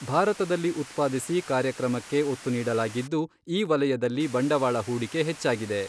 ಭಾರತದಲ್ಲಿ ಉತ್ಪಾದಿಸಿ ಕಾರ್ಯಕ್ರಮಕ್ಕೆ ಒತ್ತು ನೀಡಲಾಗಿದ್ದು, ಈ ವಲಯದಲ್ಲಿ ಬಂಡವಾಳ ಹೂಡಿಕೆ ಹೆಚ್ಚಾಗಿದೆ.